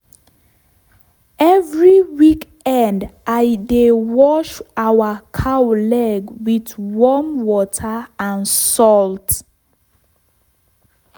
every weekend i dey wash our cow leg with warm water and salt.